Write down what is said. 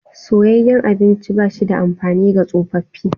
Soyayyen abinci ba shi da amfani ga tsofaffi.